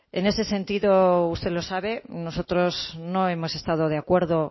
en ese sentido usted lo sabe nosotros no hemos estado de acuerdo